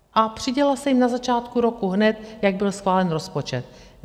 A přidělila se jim na začátku roku, hned jak byl schválen rozpočet.